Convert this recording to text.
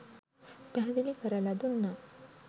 පැහැදිලි කරලා දුන්නා.